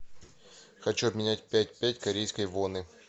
хочу обменять пять пять корейской воны